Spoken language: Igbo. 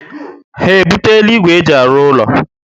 Ha ebutela ígwè e ji arụ úlọ